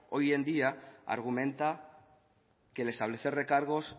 hoy en día argumenta que el establecer recargos